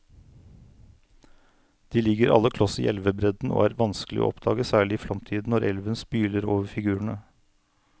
De ligger alle kloss i elvebredden og er vanskelige å oppdage, særlig i flomtiden når elven spyler over figurene.